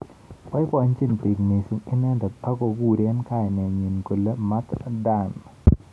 Boibojin bik mising inendet ak kokurei kainet nyi kole Mat Dan.